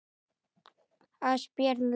Ásbjörn Logi.